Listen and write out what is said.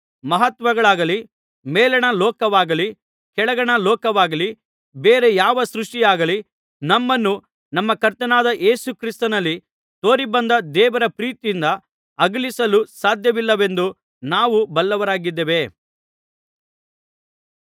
ಮಹತ್ವಗಳಾಗಲಿ ಮೇಲಣ ಲೋಕವಾಗಲಿ ಕೆಳಗಣ ಲೋಕವಾಗಲಿ ಬೇರೆ ಯಾವ ಸೃಷ್ಟಿಯಾಗಲಿ ನಮ್ಮನ್ನು ನಮ್ಮ ಕರ್ತನಾದ ಯೇಸು ಕ್ರಿಸ್ತನಲ್ಲಿ ತೋರಿಬಂದ ದೇವರ ಪ್ರೀತಿಯಿಂದ ಅಗಲಿಸಲು ಸಾಧ್ಯವಿಲ್ಲವೆಂದು ನಾವು ಬಲ್ಲವರಾಗಿದ್ದೇವೆ